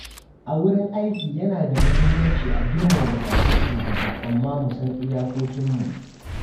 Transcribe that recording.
A wurin aiki yana da muhimmanci a girmama buƙatun shugaba amma mu san iyakokinmu.